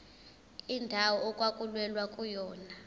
indawo okwakulwelwa kuyona